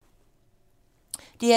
DR1